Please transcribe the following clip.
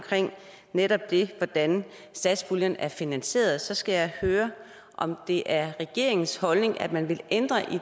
netop hvordan satspuljen er finansieret så jeg skal høre om det er regeringens holdning at man vil ændre